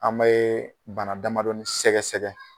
An be bana damadɔ sɛgɛsɛgɛ.